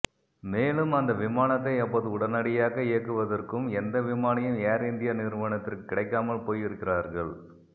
மேலும் அந்த விமானத்தை அப்போது உடனடியாக இயக்குவதற்கும் எந்த விமானியும் ஏர் இந்தியா நிறுவனத்திற்கு கிடைக்காமல் போய் இருக்கிறார்கள்